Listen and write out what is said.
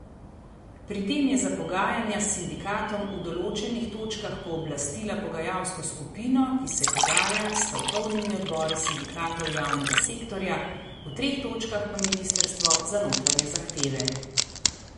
Pri tem je za pogajanja s sindikatom v določenih točkah pooblastila pogajalsko skupino, ki se pogaja s stavkovnimi odbori sindikatov javnega sektorja, v treh točkah pa ministrstvo za notranje zahteve.